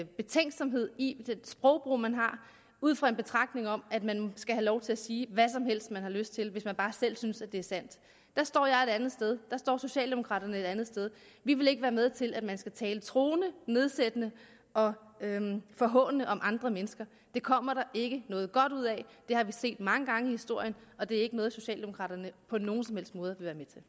betænksomhed i det sprogbrug man har ud fra en betragtning om at man skal have lov til at sige hvad som helst man har lyst til hvis man bare selv synes at det er sandt der står jeg et andet sted der står socialdemokraterne et andet sted vi vil ikke være med til at man skal tale truende nedsættende og forhånende om andre mennesker det kommer der ikke noget godt ud af det har vi set mange gange i historien og det er ikke noget socialdemokraterne på nogen som helst måde